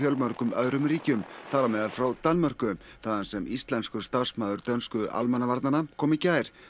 öðrum ríkjum þar á meðal frá Danmörku þaðan sem íslenskur starfsmaður dönsku almannavarnanna kom í gær